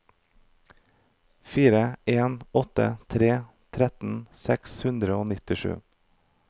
fire en åtte tre trettien seks hundre og nittisju